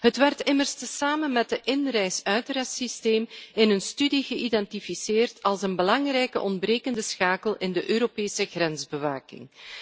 Het werd immers samen met het inreis uitrreissysteem in een studie geïdentificeerd als een belangrijke ontbrekende schakel in de Europese grensbewaking.